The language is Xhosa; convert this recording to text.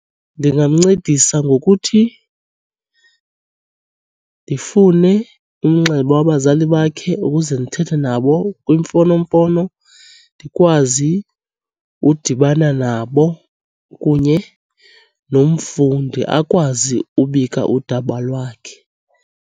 Ndingamncedisa ngokuthi ndifune umnxeba wabazali bakhe ukuze ndithethe nabo kwimfonomfono, ndikwazi udibana nabo kunye nomfundi, akwazi ubika udaba lwakhe.